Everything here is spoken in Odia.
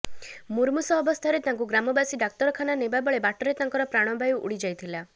ମୁମୂର୍ଷୁ ଅବସ୍ଥାରେ ତାଙ୍କୁ ଗ୍ରାମବାସୀ ଡାକ୍ତରଖାନା ନେବା ବେଳେ ବାଟରେ ତାଙ୍କର ପ୍ରାଣବାୟୁ ଉଡି ଯାଇଥିଲା